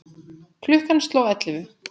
Klukkan sló ellefu.